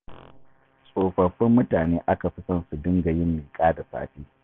Tsofaffin mutane aka fi son su dinga yin miƙa da sassafe.